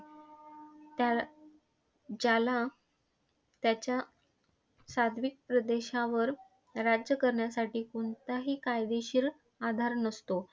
त्याल ज्याला त्याच्या सात्विक प्रदेशावर राज्य करण्यासाठी कोणताही कायदेशीर आधार नसतो.